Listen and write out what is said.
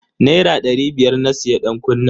Naira dari biyar na siya dankunnen.